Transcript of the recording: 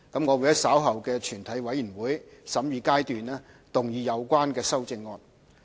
我會在稍後的全體委員會審議階段動議有關修正案。